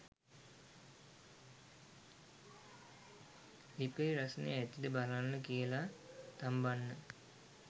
ලිපේ රස්නේ ඇතිද බලන්න කියලා තම්බන්න